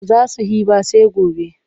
Ba za su he ba sai gobe.